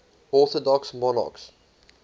orthodox monarchs